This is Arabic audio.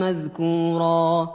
مَّذْكُورًا